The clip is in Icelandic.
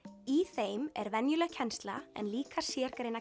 í þeim er venjuleg kennsla en líka